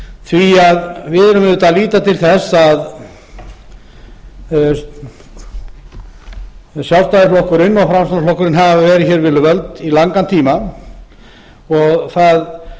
því við verðum auðvitað að líta til þess að sjálfstæðisflokkurinn og framsóknarflokkurinn hafa verið hér við völd í langan tíma það